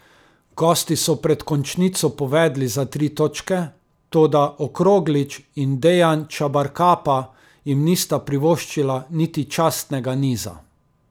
Gosti so pred končnico povedli za tri točke, toda Okroglič in Dejan Čabarkapa jim nista privoščila niti častnega niza.